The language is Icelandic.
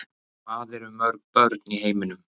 hvað eru mörg börn í heiminum